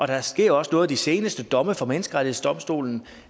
der sker også noget de seneste domme fra menneskerettighedsdomstolen